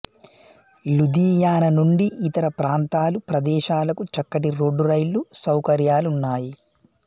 లుధియానా నుండి ఇతర ప్రాంతాలు ప్రదేశాలకు చక్కటి రోడ్డు రైలు సౌకర్యాలున్నాయి